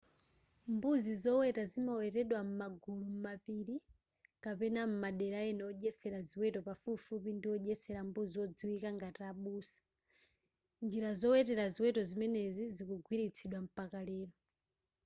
mbuzi zoweta zimawetedwa m'magulu m'mapili kapena m'madera ena odyetsela ziweto pafupipafupi ndi odyetsera mbuzi odziwika ngati abusa njira zowetera ziweto zimenezi zikugwiritsidwa mpaka lero